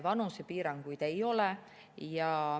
Vanusepiiranguid ei ole.